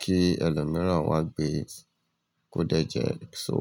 kí ẹlòmíràn wá gbé e kó dẹ́jẹ̀ só.